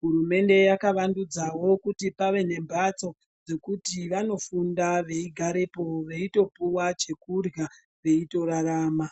hurumende yakawandudzawo kuti pave nemhatso dzekuti vanofunda veigarepo veitopuwa chekurya veitorarama.